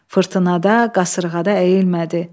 Fırtınada, qasırğada əyilmədi.